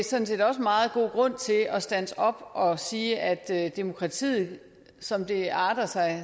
sådan set også meget god grund til at standse op og sige at demokratiet som det arter sig